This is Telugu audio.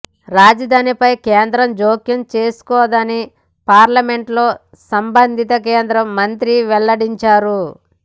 రాజధానిపై కేంద్రం జోక్యం చేసుకోదని పార్లమెంటులో సంబంధిత కేంద్ర మంత్రి వెల్లడించారు